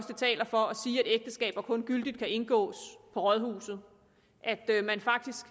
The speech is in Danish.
ægteskaber kun gyldigt kan indgås på rådhuset